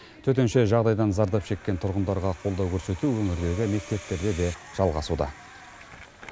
төтенше жағдайдан зардап шеккен тұрғындарға қолдау көрсету өңірлерлі мектептерде де жалғасуда